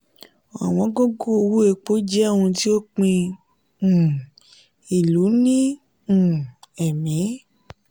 ọ̀wọ́n gógó owó epo jẹ òun ti o pín um ilu ní um ẹ́mì.